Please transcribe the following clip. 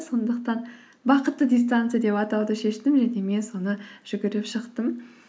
сондықтан бақытты дистанция деп атауды шештім және мен соны жүгіріп шықтым